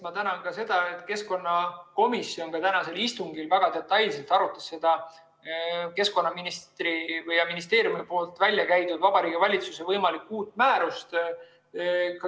Ma tänan ka selle eest, et keskkonnakomisjon tänaselgi istungil väga detailselt arutas seda keskkonnaministri ja ministeeriumi väljakäidud Vabariigi Valitsuse võimalikku uut määrust.